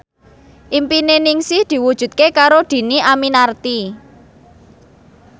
impine Ningsih diwujudke karo Dhini Aminarti